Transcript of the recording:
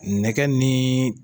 Nɛkɛ ni